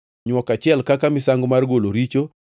nywok achiel kaka misango mar golo richo;